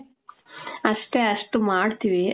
ಅಷ್ಟೆ ಅಷ್ಟು ಮಾಡ್ತೀವಿ.